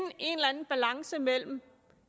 en balance mellem